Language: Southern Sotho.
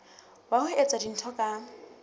wa ho etsa dintho ka